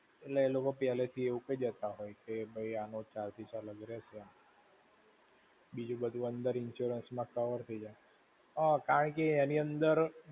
એટલે એલોકો પેલ્લે થી એવું કઈ દેતા હોય છે, કે ભૈ આનો charges અલગ થી રહેશે. બીજું બધું અંદર insurance માં cover થઇ જાય. હા, કારણ કે એની અંદર